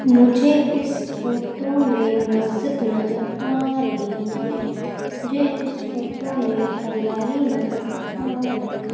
मुझे इस फोटो में मस्जिद नजर आ रही है मुझे इस फोटो में हरियाली नजर आ रही।